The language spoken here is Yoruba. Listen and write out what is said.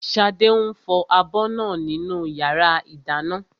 Ṣadé ń fọ abọ́ náà nínú yàrá ìdáná